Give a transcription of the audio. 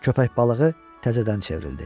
Köppək balığı təzədən çevrildi.